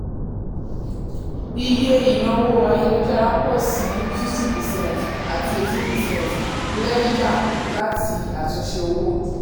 iye ìnáwó ayélujára pọ̀ sí fifty percent àti eighteen percent lẹ́yà láti àtúnṣe owó.